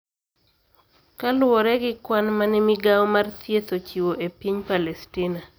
Kaluwore gi kwan ma ne migawo mar thieth ochiwo e piny Palestina,